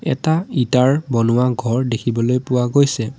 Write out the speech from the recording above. এটা ইটাৰ বনোৱা ঘৰ দেখিবলৈ পোৱা গৈছে।